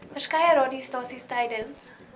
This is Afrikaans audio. verskeie radiostasies tydens